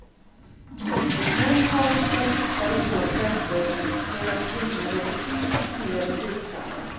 Män hakar fortare på trender, medan kvinnor är betydligt mer tveksamma.